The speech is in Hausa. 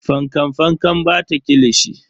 Fankan Fankan bata kilishi.